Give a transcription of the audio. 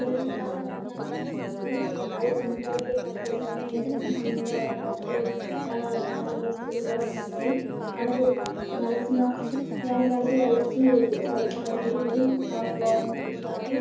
కిరాణా shop లోనే అన్ని items ఉంటాయి. . అని చిన్న పిల్లలు పెద్ద పిల్లలు కావాల్సిన వస్తువులు అన్నీ ఉంటాయి. మనకి కావలసిన అన్ని వస్తువులు ఎక్కడ దొరుకుతుంటాయి.